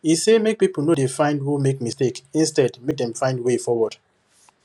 he say make people no dey find who make mistake instead make dem find way forward